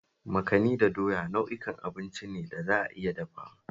Makani da doya nau'ukan abinci ne da za a iya dafawa